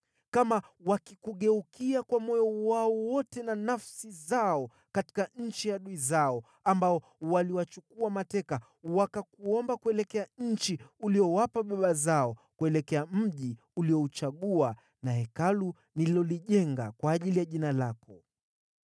kama wakikugeukia kwa moyo wao wote na nafsi zao katika nchi ya adui zao ambao waliwachukua mateka, wakakuomba kuelekea nchi uliyowapa baba zao, kuelekea mji uliouchagua na Hekalu nililolijenga kwa ajili ya Jina lako,